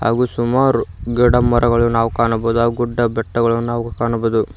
ಹಾಗು ಸುಮಾರು ಗಿಡ ಮರಗಳು ನಾವು ಕಾಣಬಹುದು ಆ ಗುಡ್ಡ ಬೆಟ್ಟಗಳನ್ನು ನಾವು ಕಾಣಬಹುದು.